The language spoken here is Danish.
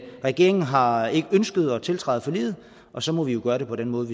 regeringen har ikke ønsket at tiltræde forliget og så må vi jo gøre det på den måde